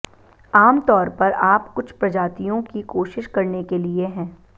आम तौर पर आप कुछ प्रजातियों की कोशिश करने के लिए है